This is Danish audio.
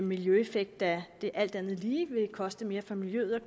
miljøeffekt da det alt andet lige vil koste mere for miljøet at